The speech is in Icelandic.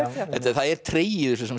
það er tregi